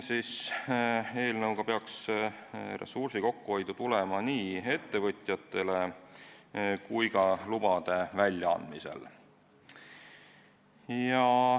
Eelnõust peaks ressursi kokkuhoidu tulema nii ettevõtjatele kui ka lubade väljaandmisel.